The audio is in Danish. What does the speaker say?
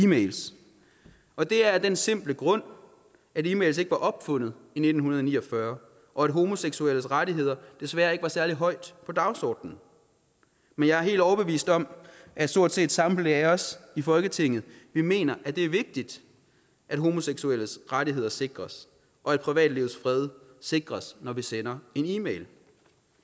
mails og det er af den simple grund at e mails ikke var opfundet i nitten ni og fyrre og at homoseksuelles rettigheder desværre ikke var særlig højt på dagsordenen men jeg er helt overbevist om at stort set samtlige af os i folketinget mener at det er vigtigt at homoseksuelles rettigheder sikres og at privatlivets fred sikres når vi sender en e mail